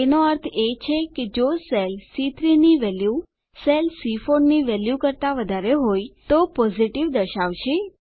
એનો અર્થ છે કે જો સેલ સી3 ની વેલ્યુ સેલ સી4 ની વેલ્યુ કરતા વધારે હોય તો પોઝિટિવ દર્શાવશે